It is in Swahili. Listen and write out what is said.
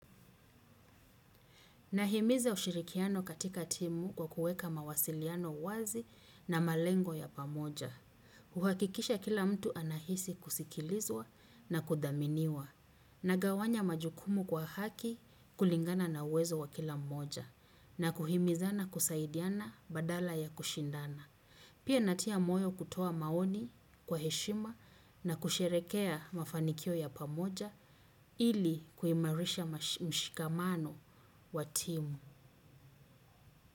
Nahimiza ushirikiano katika timu kwa kuweka mawasiliano wazi na malengo ya pamoja. Huhakikisha kila mtu anahisi kusikilizwa na kudhaminiwa. Nagawanya majukumu kwa haki kulingana na uwezo wa kila mmoja. Na kuhimizana kusaidiana badala ya kushindana. Pia natia moyo kutoa maoni kwa heshima na kusherehekea mafanikio ya pamoja. Ili kuimarisha mshikamano wa timu.